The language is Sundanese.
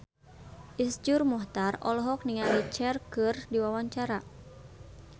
Iszur Muchtar olohok ningali Cher keur diwawancara